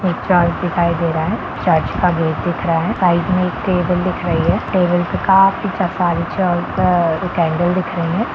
एक चर्च दिखाई दे रहा है चर्च का गेट दिख रहा है साइड में एक टेबुल दिख रही है टेबल का पीछे दिख रही हैं।